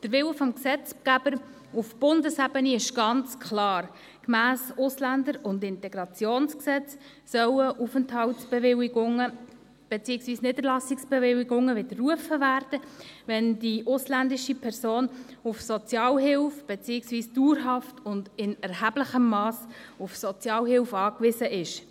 Gemäss Bundesgesetz über die Ausländerinnen und Ausländer und über die Integration (AIG) sollen Aufenthaltsbewilligungen beziehungsweise Niederlassungsbewilligungen wiederrufen werden, wenn die ausländische Person auf Sozialhilfe beziehungsweise dauerhaft und in erheblichem Mass auf Sozialhilfe angewiesen ist.